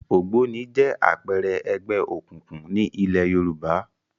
Ògbóni jẹ́ àpẹẹrẹ ẹgbẹ́ òkùnkùn ní ilẹ̀ Yorùbá